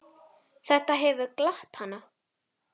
Þetta hefur glatt hana.